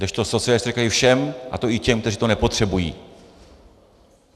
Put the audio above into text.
Kdežto socialisté říkají: všem, a to i těm, kteří to nepotřebují.